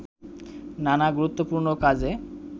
নানা গুরুত্বপূর্ণ কাজে